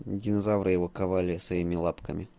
динозавры его ковали своими лапками